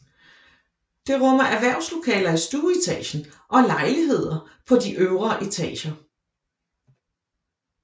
Det rummer erhvervslokaler i stueetagen og lejligheder på de øvre etager